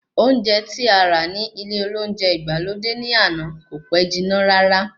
Oúnjẹ tí ará ní ilé olóúnjẹ ìgbàlódé ní àná kò pẹ́ jiná rárá